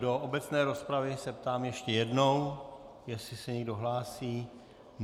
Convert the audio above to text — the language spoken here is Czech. Do obecné rozpravy se ptám ještě jednou, jestli se někdo hlásí.